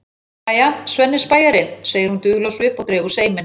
Jæja, Svenni spæjari, segir hún dul á svip og dregur seiminn.